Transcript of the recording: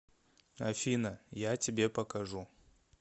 афина я тебе покажу